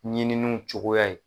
Ɲininiw cogoya ye.